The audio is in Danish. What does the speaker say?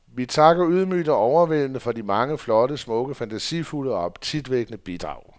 Vi takker ydmygt og overvældede for de mange flotte, smukke, fantasifulde og appetitvækkende bidrag.